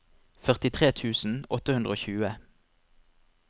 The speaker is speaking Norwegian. førtitre tusen åtte hundre og tjue